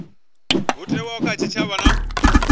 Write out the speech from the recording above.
ho thewaho kha tshitshavha na